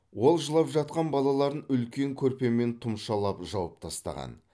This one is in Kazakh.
ол жылап жатқан балаларын үлкен көрпемен тұмшалап жауып тастаған